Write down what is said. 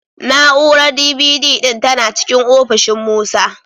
Na'urar D.V.D ɗin tana cikin ofishin Musa.